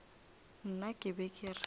nna ke be ke re